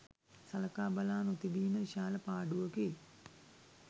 සලකා බලා නොතිබීම විශාල පාඩුවකි.